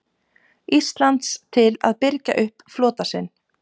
Íslands til að birgja upp flota sinn.